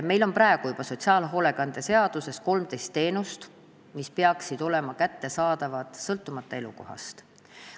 Meil on juba praegu sotsiaalhoolekande seaduses 13 teenust, mis peaksid olema kättesaadavad sõltumata elukohast.